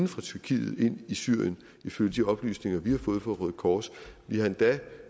fra tyrkiet ind i syrien ifølge de oplysninger vi har fået fra røde kors vi har endda